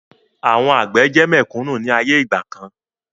Àwọn àgbẹ̀ jẹ́ mẹ̀kúnnù ni ayé ìgbàkan